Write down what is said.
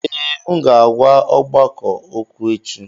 Ee, m ga-agwa ọgbakọ okwu echi